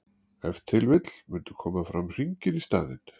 ef til vill mundu koma fram hringir í staðinn